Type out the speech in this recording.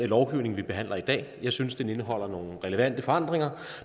lovgivning vi behandler i dag jeg synes den indeholder nogle relevante forandringer